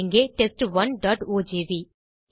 இங்கே test1ஓஜிவி